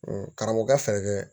Karamɔgɔkɛ fɛɛrɛ kɛ